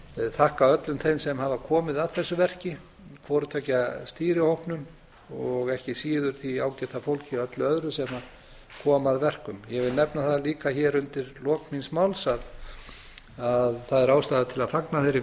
þakka öllum þeim sem hafa komið að þessu verki hvoru tveggja stýrihópnum og ekki síður því ágæta fólki öllu öðru sem kom að verkum ég vil nefna það líka hér undir lok míns máls að ástæða er til að fagna þeirri